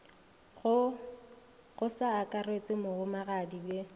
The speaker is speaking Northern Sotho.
go sa akarešwe mohumagadi bhe